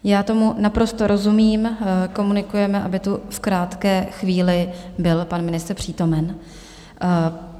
Já tomu naprosto rozumím, komunikujeme, aby tu v krátké chvíli byl pan ministr přítomen.